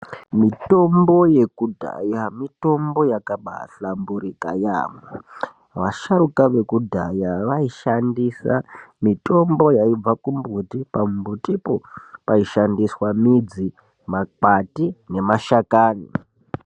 Mitombo yekudhaya mitombo yakabahlamburika yaemho. Vasharuka vekudhaya vaishandisa mitombo yaibva kumbuti. Pambutipo paishandiswa midzi, makwati nemashakani.